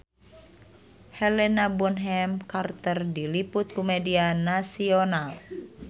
Helena Bonham Carter diliput ku media nasional